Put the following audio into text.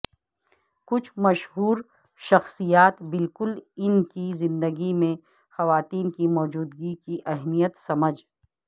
کچھ مشہور شخصیات بالکل ان کی زندگی میں خواتین کی موجودگی کی اہمیت سمجھ